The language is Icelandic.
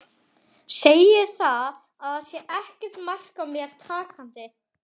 Segir að það sé ekkert mark á mér takandi.